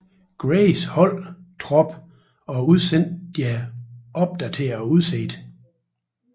Grays hold trop og udsendte deres opdaterede udsigt